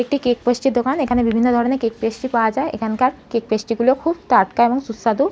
একটি cake pastry -এর দোকান এখানে বিভিন্ন ধরনের কেক পেস্ট্রি পাওয়া যায়। এখানকার কেক পেস্ট্রি গুলো খুব টাটকা এবং সুস্বাদু।